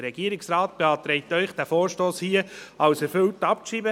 Der Regierungsrat beantragt Ihnen, diesen Vorstoss als erfüllt abzuschreiben.